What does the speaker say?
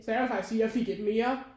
Så jeg ville faktisk sige jeg fik et mere